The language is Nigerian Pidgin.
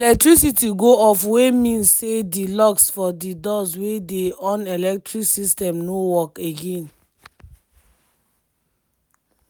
di electricity go off wey mean say di locks for di doors wey dey on electric system no work again.